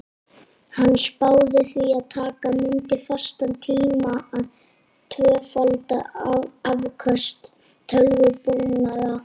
Hann spáði því að taka mundi fastan tíma að tvöfalda afköst tölvubúnaðar.